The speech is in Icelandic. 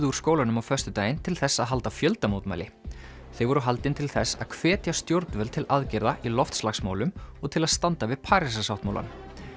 úr skólanum á föstudaginn til þess að halda fjöldamótmæli þau voru haldin til þess að hvetja stjórnvöld til aðgerða í loftslagsmálum og til að standa við Parísarsáttmálann